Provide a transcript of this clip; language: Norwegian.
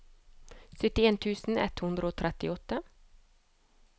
syttien tusen ett hundre og trettiåtte